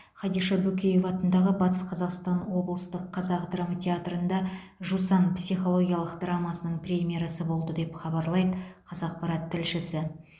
хадиша бөкеева атындағы батыс қазақстан облыстық қазақ драма театрында жусан психологиялық драмасының премьерасы болды деп хабарлайды қазақпарат тілшісі